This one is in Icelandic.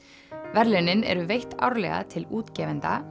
verðlaunin eru veitt árlega til útgefenda